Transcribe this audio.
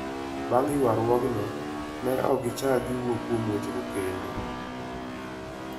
Bang' ywaruokno, ne ok gichak giwuo kuom wechego kendo".